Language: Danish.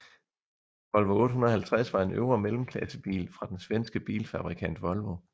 Volvo 850 var en øvre mellemklassebil fra den svenske bilfabrikant Volvo